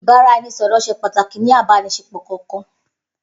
Ibaraẹnisọrọ ṣẹ pàtàkì ni àbànisé pọ kankan.